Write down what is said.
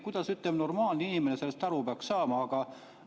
Kuidas, ütleme, normaalne inimene sellest aru peaks saama?